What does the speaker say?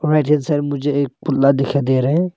मुझे एक पुल्ला दिखा दे रहे हैं।